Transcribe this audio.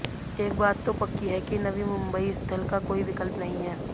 एक बात तो पक्की है कि नवी मुंबई स्थल का कोई विकल्प नहीं है